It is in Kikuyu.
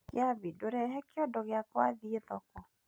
Kĩambi ndutera kiondo giakwa thiĩ thoko.